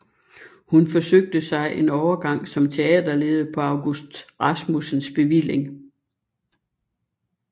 Hun forsøgte sig en overgang som teaterleder på August Rasmussens bevilling